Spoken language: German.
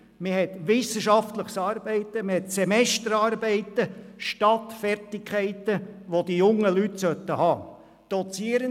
Es geht um wissenschaftliches Arbeiten, und es gibt Semesterarbeiten anstelle von Fertigkeiten, die die jungen Leute erwerben sollten.